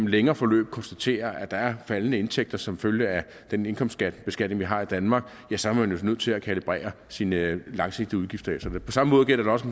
længere forløb konstaterer at der er faldende indtægter som følge af den indkomstbeskatning vi har i danmark så er nødt til at kalibrere sine langsigtede udgifter efter det på samme måde gælder det også